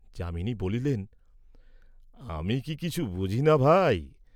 যামিনী বলিলেন, "আমি কি কিছু বুঝি না, ভাই?"